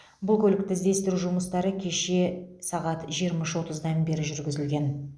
бұл көлікті іздестіру жұмыстары кеше сағат жиырма үш отыздан бері жүргізілген